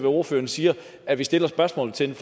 ordføreren siger at vi stiller spørgsmål til